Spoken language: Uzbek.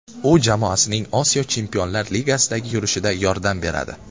U jamoasining Osiyo Chempionlar Ligasidagi yurishida yordam beradi.